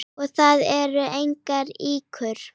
Og það eru engar ýkjur.